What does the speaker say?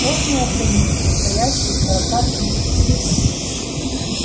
сложный организм состоящий из сорока тысяч клеток